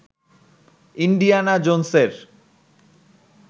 Indiana জোনসের